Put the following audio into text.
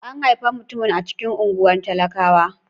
An haifi mutumin a cikin unguwar talakawa.